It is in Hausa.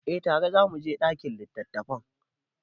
Eh tare za mu je ɗakin littattafai.